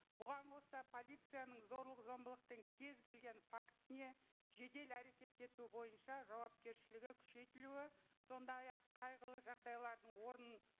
бұған қоса полицияның зорлық зомбылықтың кез келген фактісіне жедел әрекет ету бойынша жауапкершілігі күшейтілуі сондай ақ қайғылы жағдайлардың орнын